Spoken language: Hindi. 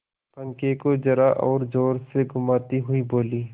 पंखे को जरा और जोर से घुमाती हुई बोली